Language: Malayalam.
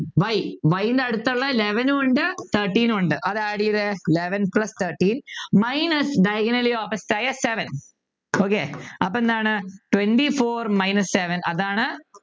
y y ൻ്റെ അടുത്തുള്ള Eleven നും ഉണ്ട് thirteen ഉം ഉണ്ട് അത് add ചെയ്തേ Eleven plus thirteen minus diagonally opposite ആയ seven okay അപ്പോ എന്താണ് Twenty four minus seven അതാണ്